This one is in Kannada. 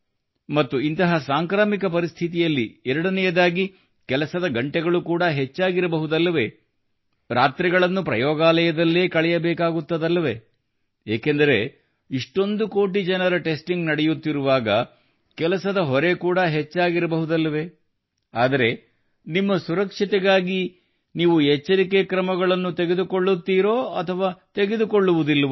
ಮತ್ತು ಇಂತಹ ಸಾಂಕ್ರಾಮಿಕ ಪರಿಸ್ಥಿತಿಯಲ್ಲಿ ಎರಡನೆಯದಾಗಿದೆ ಕೆಲಸದ ಗಂಟೆಗಳು ಕೂಡಾ ಹೆಚ್ಚಾಗಿರಬಹುದಲ್ಲವೇ ರಾತ್ರಿಗಳನ್ನು ಪ್ರಯೋಗಾಲಯದಲ್ಲೇ ಕಳೆಯಬೇಕಾಗುತ್ತದಲ್ಲವೇ ಏಕೆಂದರೆ ಇಷ್ಟೊಂದು ಕೋಟಿ ಜನರ ಟೆಸ್ಟಿಂಗ್ ನಡೆಯುತ್ತಿರುವಾಗ ಕೆಲಸದ ಹೊರೆ ಕೂಡಾ ಹೆಚ್ಚಾಗಿರಬಹುದಲ್ಲವೇ ಆದರೆ ನಿಮ್ಮ ಸುರಕ್ಷತೆಗಾಗಿ ಕೂಡಾ ನೀವು ಎಚ್ಚರಿಕೆ ಕ್ರಮಗಳನ್ನು ತೆಗೆದುಕೊಳ್ಳುತ್ತೀರೋ ಅಥವಾ ತೆಗೆದುಕೊಳ್ಳುವುದಿಲ್ಲವೋ